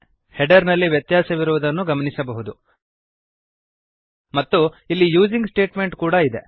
header ನಲ್ಲಿ ವ್ಯತ್ಯಾಸವಿರುವುದನ್ನು ಗಮನಿಸಬಹುದು ಮತ್ತು ಇಲ್ಲಿ ಯೂಸಿಂಗ್ ಸ್ಟೇಟ್ಮೆಂಟ್ ಕೂಡಾ ಇದೆ